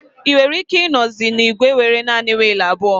Ị nwere ike ịnozi na igwe nwere naanị wiil abụọ